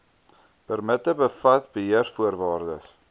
permitte bevat beheervoorwaardes